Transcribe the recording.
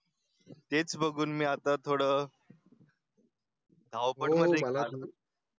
तेच बघून मी आता थोडं. ओपन मला .